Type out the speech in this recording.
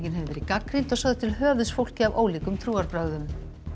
hefur verið gagnrýnd og sögð til höfuðs fólki af ólíkum trúarbrögðum